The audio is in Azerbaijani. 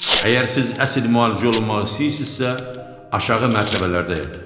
Əgər siz əsl müalicə olunmaq istəyirsinizsə, aşağı mərtəbələrdə yatın.